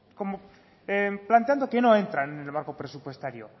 como planteando que no entran en el barco presupuestario